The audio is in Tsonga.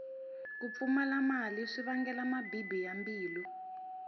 ku pfumala mali swi vangela mabibi ya mbilu